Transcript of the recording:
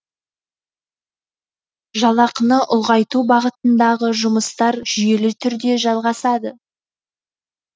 жалақыны ұлғайту бағытындағы жұмыстар жүйелі түрде жалғасады